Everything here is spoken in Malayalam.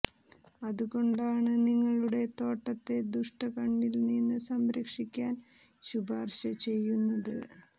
അതുകൊണ്ടാണ് നിങ്ങളുടെ തോട്ടത്തെ ദുഷ്ട കണ്ണിൽ നിന്ന് സംരക്ഷിക്കാൻ ശുപാർശ ചെയ്യുന്നത്